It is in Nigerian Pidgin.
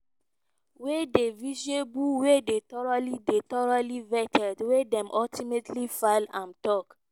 “wey dey viable wey dey thoroughly dey thoroughly vetted wey dem ultimately file” im tok.